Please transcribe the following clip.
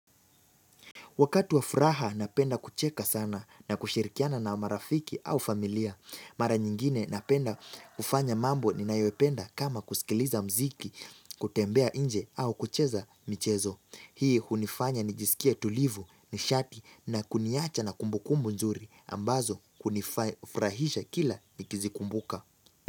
Wakati wa furaha napenda kucheka sana na kushirikiana na marafiki au familia. Mara nyingine napenda kufanya mambo ni nayopenda kama kusikiliza mziki, kutembea inje au kucheza michezo. Hii hunifanya ni jisikie tulivu, nishati na kuniacha na kumbukumbu nzuri ambazo kunifrahisha kila nikizi kumbuka.